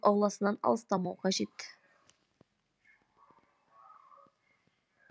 ауласынан алыстамау қажет